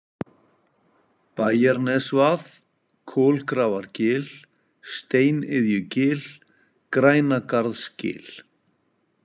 Bæjarnesvað, Kolgrafargil, Steiniðjugil, Grænagarðsgil